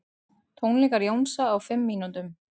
Tónleikar Jónsa á fimm mínútum